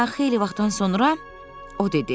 Hə, xeyli vaxtdan sonra o dedi: